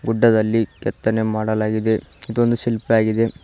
ಗುಡ್ಡದಲ್ಲಿ ಕೆತ್ತನೆ ಮಾಡಲಾಗಿದೆ ಇದು ಒಂದು ಶಿಲ್ಪಿಯಾಗಿದೆ.